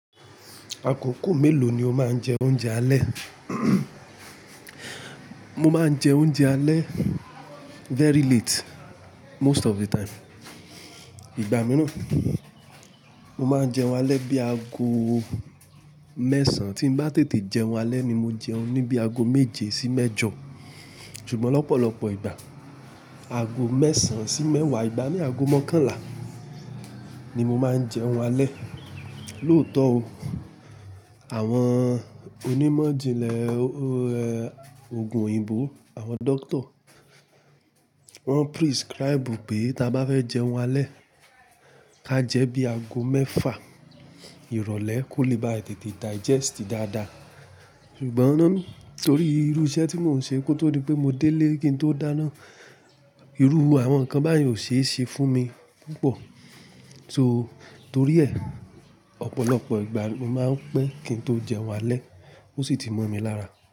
Àkókò mélòó ni o máa ń jẹ oúnjẹ alẹ́? Mo máa ń jẹ oúnjẹ alẹ́ very late most of the time. Igba mìíràn, mo máa ń jẹun alẹ́ bí i ago mẹ́sàn. Tí n bá tètè jẹun alẹ́ ni mo jẹun ní bí i ago méje sí mẹ́jọ. Ṣùgbọ́n lọ́pọ̀lọpọ̀ ìgbà, ago mẹ́sàn sí mẹ́wàá, ìgbà mí ago mọ́kànlá ni mo máa ń jẹun alẹ́. Lóòótọ́ o, àwọn onímọ̀ ìjìnlẹ̀ òògùn òyìnbó, àwọn dóctor, wọ́n prescribe pé ta bá fẹ́ jẹun alẹ́, ká jẹ bí i ago mẹ́fà ìrọ̀lẹ́ kó lè bá tètè digest dáadáa. Ṣùgbọ́n torí irú iṣẹ́ tí mò ń ṣe kó tó di pé mo délé kí n tó dáná, irú àwọn nǹkan báyìí ò ṣe é ṣe fún mi púpọ̀. So torí ẹ̀, ọ̀pọ̀lọpọ̀ ìgbà mo máa ń pẹ́ kí n tó jẹun alẹ́ ó sì ti mọ́ mi lára.